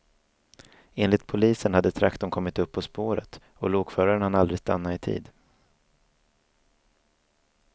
Enligt polisen hade traktorn kommit upp på spåret och lokföraren hann aldrig stanna i tid.